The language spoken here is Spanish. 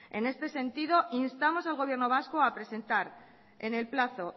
en este sentido instamos al gobierno vasco a presentar en el plazo